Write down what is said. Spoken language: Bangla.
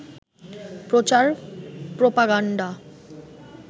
প্রচার প্রপাগান্ডা